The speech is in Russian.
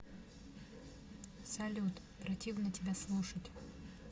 салют противно тебя слушать